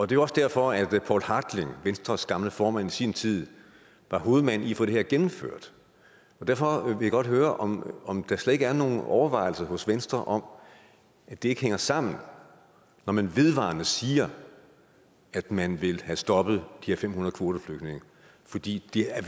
det var også derfor poul hartling venstres gamle formand i sin tid var hovedmand i at få det her gennemført og derfor vil jeg godt høre om om der slet ikke er nogen overvejelser hos venstre om at det ikke hænger sammen når man vedvarende siger at man vil have stoppet for her fem hundrede kvoteflygtninge fordi vi er